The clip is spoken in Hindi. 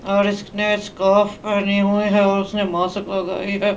और इसने स्कार्फ पहनी हुई है और उसने मासक लगाई है।